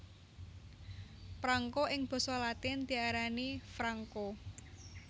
Prangko ing basa latin diarani franco